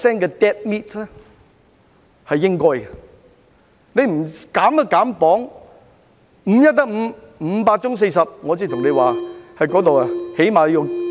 若不稍為減磅......五一得五，五八中四十，我說那部分起碼有 9,000 人。